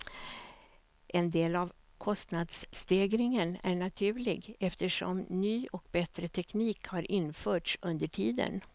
En del av kostnadsstegringen är naturlig, eftersom ny och bättre teknik har införts under tiden.